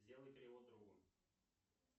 сделай перевод другу